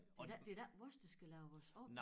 Det da ikke det da ikke os der skal lave vores om